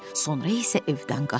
Sonra isə evdən qaçdı.